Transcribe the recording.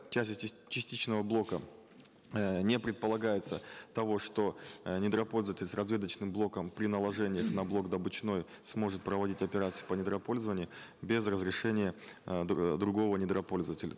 в части частичного блока э не предполагается того что э недропользователь с разведочным блоком при наложении на блок сможет проводить операции по недропользованию без разрешения э другого недропользователя